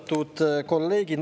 Austatud kolleegid!